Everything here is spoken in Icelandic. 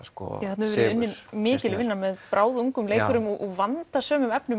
þarna hefur verið unnin mikil vinna með bráðungum leikurum og vandað sum efnin